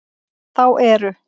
Þá eru